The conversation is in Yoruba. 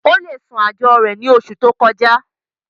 ó le san àjọ rẹ̀ ní oṣù tó kọjá